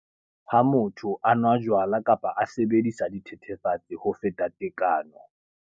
lHa motho a nwa jwala kapa a sebedisa dithethefatsi ho feta tekano.